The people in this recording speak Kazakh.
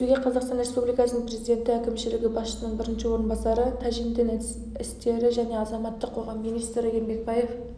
кездесуге қазақстан республикасының президенті әкімшілігі басшысының бірінші орынбасары тәжин дін істері және азаматтық қоғам министрі ермекбаев